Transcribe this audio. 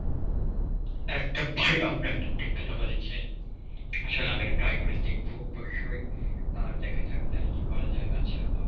একদম ভাই, আপনি একদম ঠিক কথা বলেছেন আসলে আমি এটা try করে দেখব অবশ্যই আর দেখা যাক তাহলে কি করা যায়. আচ্ছা